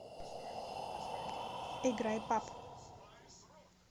играй пап